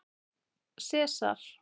Sesar